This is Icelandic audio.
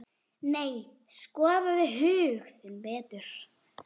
Nei, skoðaðu hug þinn betur.